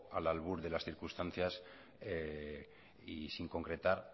al albur de las circunstancias y sin concretar